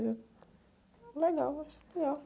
Eu... Legal, acho legal.